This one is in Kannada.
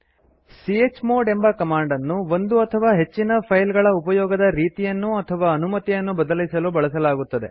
ಚ್ಮೋಡ್ ಎಂಬ ಕಮಾಂಡ್ ಅನ್ನು ಒಂದು ಅಥವಾ ಹೆಚ್ಚಿನ ಫೈಲ್ಗಳ ಉಪಯೊಗದ ರೀತಿಯನ್ನು ಅಥವಾ ಅನುಮತಿಯನ್ನು ಬದಲಿಸಲು ಬಳಸಲಾಗುತ್ತದೆ